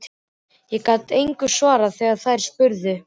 Ég gat engu svarað þegar þær spurðu.